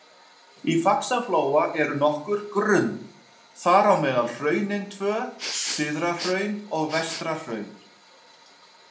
Í Faxaflóa eru nokkur grunn, þar á meðal „hraunin“ tvö, Syðrahraun og Vestrahraun.